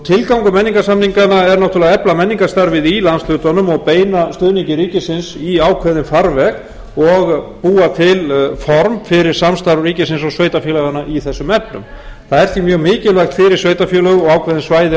tilgangur menningarsamninganna er náttúrulega að efla menningarstarfið í landshlutanum og beina stuðningi ríkisins í ákveðinn farveg og búa til form fyrir samstarf ríkisins og sveitarfélaganna í þessum efnum það er því mjög mikilvægt fyrir sveitarfélög og ákveðin svæði